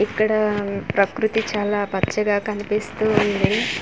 ఇక్కడ అఆ ప్రకృతి చాలా పచ్చగా కనిపిస్తూ ఉంది.